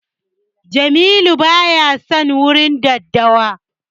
Jamilu baya son warin daddawa.